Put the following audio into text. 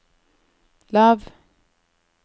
lav